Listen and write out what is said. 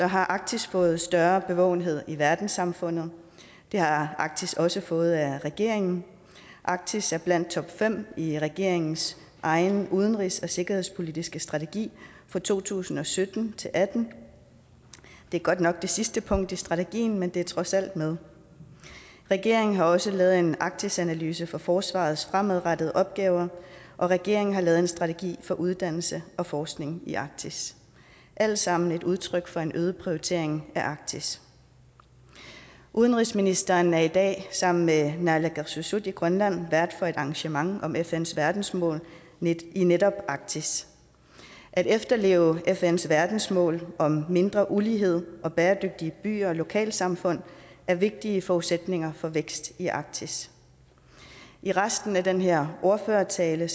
har arktis fået større bevågenhed i verdenssamfundet det har arktis også fået af regeringen arktis er blandt topfem i regeringens egen udenrigs og sikkerhedspolitiske strategi for to tusind og sytten til atten det er godt nok det sidste punkt i strategien men det er trods alt med regeringen har også lavet en arktisanalyse for forsvarets fremadrettede opgaver og regeringen har lavet en strategi for uddannelse og forskning i arktis alt sammen et udtryk for en øget prioritering af arktis udenrigsministeren er i dag sammen med naalakkersuisut i grønland vært for et arrangement om fns verdensmål i netop arktis at efterleve fns verdensmål om mindre ulighed og bæredygtige byer og lokalsamfund er vigtige forudsætninger for vækst i arktis i resten af den her ordførertale